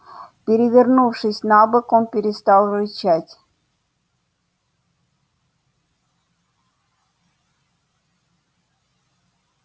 перевернувшись на бок он перестал рычать